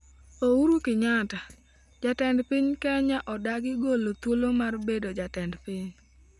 Uhuru Kenyatta: Jatend piny Kenya odagi golo thuolo mar bedo Jatend Piny